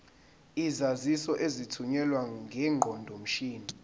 izaziso ezithunyelwe ngeqondomshini